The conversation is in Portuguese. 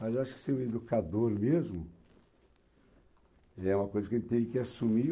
Mas eu acho que ser um educador mesmo é uma coisa que a gente tem que assumir.